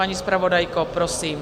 Paní zpravodajko, prosím.